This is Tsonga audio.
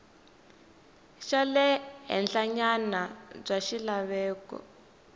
xa le henhlanyana bya swilaveko